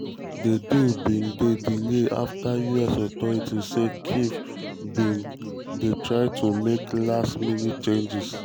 di deal bin um dey delayed after us authorities say kyiv kyiv bin um dey try to make last-minute changes.